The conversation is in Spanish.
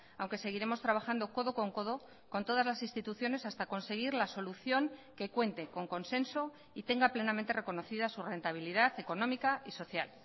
aunque seguiremos trabajando codo con codo con todas las instituciones hasta conseguir la solución que cuente con consenso y tenga plenamente reconocida su rentabilidad económica y social